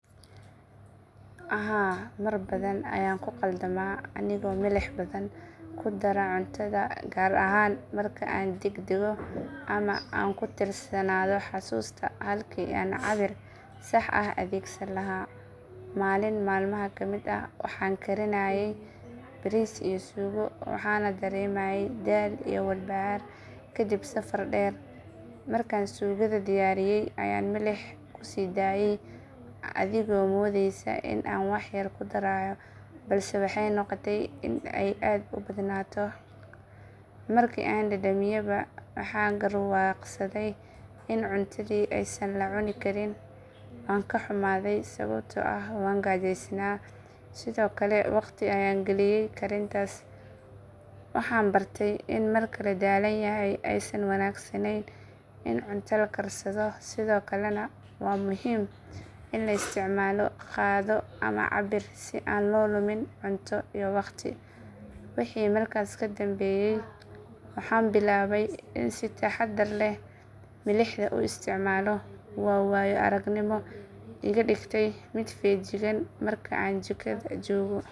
Haa waan ku dhaqmi lahaa beerista geedka looska cashew sababtoo ah waa mid leh faa’iidooyin badan oo beeraleyda iyo deegaanka labadaba anfacaya. Marka hore geedkan wuxuu ku baxaa meelaha kulaylaha ah sida deegaanada qaar ee kenya taasoo ka dhigaysa mid ku habboon deegaanka aan ku noolahay. Waxa kale oo uu leeyahay wax soo saar wanaagsan iyadoo mirihiisa laga sameeyo saliid, buskud iyo cuntooyin kale oo qiimo ganacsi leh leh. Suuqa looska cashew aad buu u furan yahay gudaha iyo dibaddaba taasoo dakhli fiican u keenaysa qofka beerta. Intaa waxaa dheer geedkan wuu adkaysan karaa abaarta wuxuuna u baahan yahay biyo yar taasoo yareynaysa kharashka biyaha. Laamaha iyo caleemihiisa waxaa lagu quudin karaa xoolaha halka jiriddiisana laga samayn karo alwaax yar yar oo dab lagu shido. Beerista looska cashew sidoo kale waxay abuuri kartaa shaqooyin badan sida goosashada, nadiifinta iyo diyaarinta miraha taasoo dhalinyarada iyo haweenka ka faa’iideysan karaan. Waa geed faa’iido badan leh marka la beerto si xirfad leh loona suuq geeyo si hufan. Taasi waa sababta aan u dooran lahaa inaan ku dhaqmo beeristiisa.